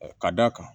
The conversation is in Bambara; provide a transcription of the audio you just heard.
Ka d'a kan